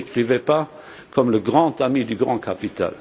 Ne me décrivez pas comme le grand ami du grand capital.